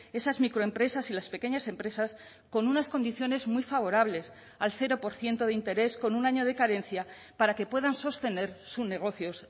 esas microempresas y las pequeñas empresas con unas condiciones muy favorables al cero por ciento de interés con un año de carencia para que puedan sostener sus negocios